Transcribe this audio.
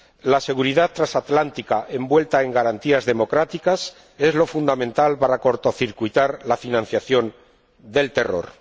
La seguridad transatlántica envuelta en garantías democráticas es lo fundamental para cortocircuitar la financiación del terror.